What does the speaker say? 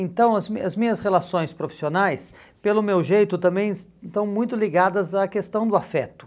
Então, as minhas as minhas relações profissionais, pelo meu jeito, também estão muito ligadas à questão do afeto.